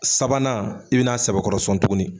Sabanan i bɛna n'a sɛbɛkɔrɔsɔn tugunni.